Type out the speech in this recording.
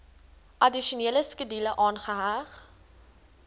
addisionele skedule aangeheg